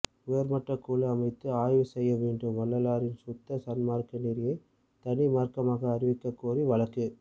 உயர்மட்ட குழு அமைத்து ஆய்வு செய்ய வேண்டும் வள்ளலாரின் சுத்த சன்மார்க்க நெறியை தனி மார்க்கமாக அறிவிக்கக் கோரி வழக்கு